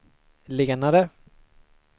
lenare